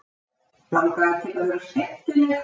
Langaði til að vera skemmtileg.